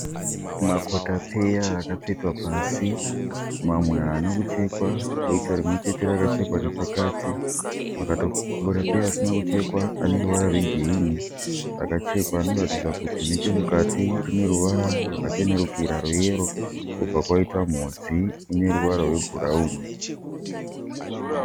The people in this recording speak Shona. Makotapeya akatsvetwa pasi. Mamwe haana kuchekwa kwoita rimwe chete rakachekwa nepakati. Makotapeya asina kuchekwa aneruvara rwe girinhi. Akachekwa anoratidza kuti nechemukati rineruvara rwakachenerukira rwe yero. Kobva kwaita mhodzi ine ruvara rwe bhurauni.